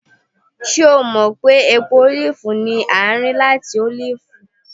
ṣe o mọ pe epo olifi ni a ri lati olifi?